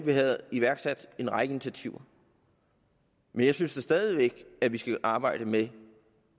vi havde iværksat en række initiativer men jeg synes da stadig væk at vi skal arbejde med